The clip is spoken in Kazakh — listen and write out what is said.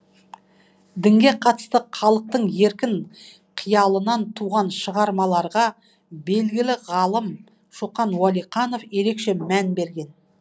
дінге қатысты халықтың еркін қиялынан туған шығармаларға белгілі ғалым шоқан уәлиханов ерекше мән берген